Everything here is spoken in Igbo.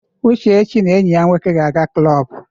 Uchechi na enyi ya nwoke ga-aga klọb.